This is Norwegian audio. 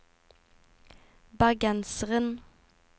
bergenseren